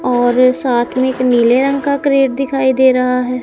और साथ में एक नीले रंग का क्रेट दिखाई दे रहा है।